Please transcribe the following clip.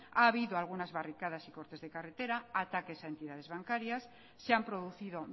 ha habido algunas barricadas y cortes de carretera ataques a entidades bancarias se han producido